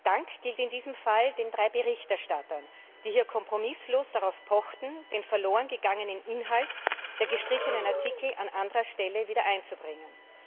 Dank gilt in diesem Fall den drei Berichterstattern, die hier kompromisslos darauf pochten, den verlorengegangenen Inhalt der gestrichenen Artikel an anderer Stelle wiedereinzubringen.